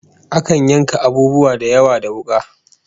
Akan yanka abubuwa da yawa da wuka